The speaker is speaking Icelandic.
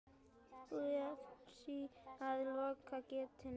Búið sé að loka gatinu.